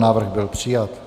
Návrh byl přijat.